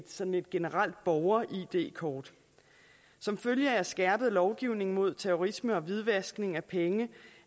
sådan et generelt borger id kort som følge af skærpet lovgivning mod terrorisme og hvidvaskning af penge